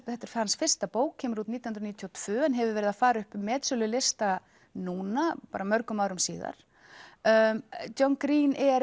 þetta er hans fyrsta bók kemur út nítján hundruð níutíu og tvö en hefur verið að fara upp metsölulista núna mörgum árum síðar John Green er